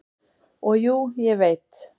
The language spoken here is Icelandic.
"""Og jú, ég veit."""